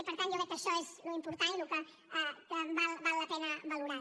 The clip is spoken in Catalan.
i per tant jo crec que això és l’important i el que val la pena valorar